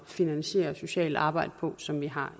finansiere socialt arbejde på som vi har